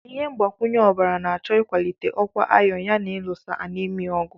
Ihe mgbakwunye ọbara na-achọ ịkwalite ọkwa iron yana ịlụso anaemia ọgụ.